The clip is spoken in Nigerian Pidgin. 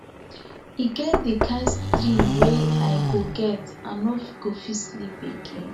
e get di kain dream wey i go get i no go fit sleep again